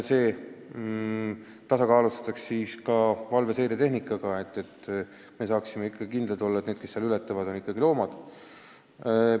Needki kohad varustatakse valveseiretehnikaga, et me saaksime kindlad olla, et need, kes piiri ületavad, on ikkagi loomad.